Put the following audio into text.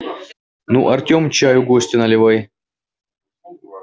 ну артем чаю гостю наливай